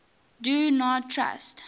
do not trust